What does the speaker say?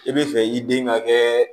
I bɛ fɛ i den ka kɛ